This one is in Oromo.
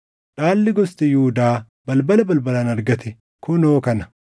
Dhaalli gosti Yihuudaa balbala balbalaan argate kunoo kana: